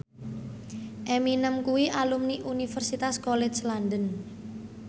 Eminem kuwi alumni Universitas College London